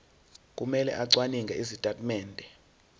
kumele acwaninge izitatimende